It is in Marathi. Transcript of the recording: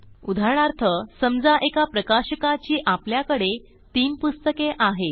उदाहरणार्थ समजा एका प्रकाशकाची आपल्याकडे तीन पुस्तके आहेत